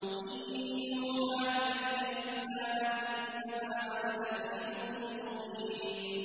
إِن يُوحَىٰ إِلَيَّ إِلَّا أَنَّمَا أَنَا نَذِيرٌ مُّبِينٌ